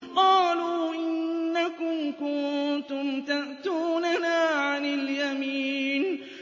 قَالُوا إِنَّكُمْ كُنتُمْ تَأْتُونَنَا عَنِ الْيَمِينِ